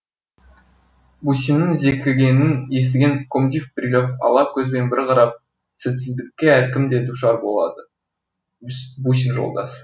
бусиннің зекігенін естіген комдив брилев ала көзбен бір қарап сәтсіздікке әркім де душар болады бусин жолдас